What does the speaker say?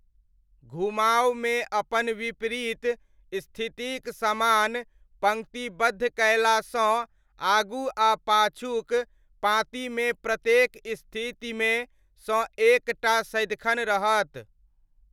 घुमावमे अपन विपरीत स्थितिक समान पङ्क्तिबद्ध कयलासँ, आगू आ पाछूक पाँतिमे प्रत्येक स्थितिमे सँ एक टा सदिखन रहत।